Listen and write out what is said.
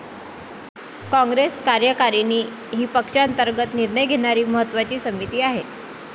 काँग्रेस कार्यकारिणी ही पक्षांतर्गत निर्णय घेणारी महत्त्वाची समिती आहे.